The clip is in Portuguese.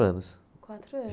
anos. Quatro anos.